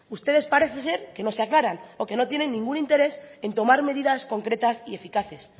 ustedes parece ser que no se aclaran o que no tienen ningún interés en tomar medidas concretas y eficaces